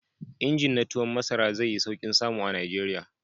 Injin na tuwon masara zai yi sauƙin samu a Najeriya.